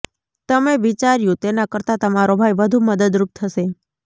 તમે વિચાર્યું તેના કરતા તમારો ભાઈ વધુ મદદરૂપ થશે